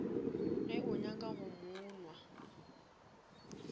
o nyaka go mo nwa